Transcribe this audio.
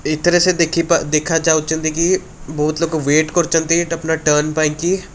ଏଠାରେ ସେ ଦେଖିପା ଦେଖାଯାଉଛନ୍ତି କି ବହୁତ୍ ଲୋକ ୱେଟ୍ କରିଛନ୍ତି ଏଇଟା ଟର୍ନ ପାଇଁ କି।